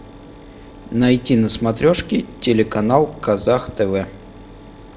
найти на смотрешке телеканал казах тв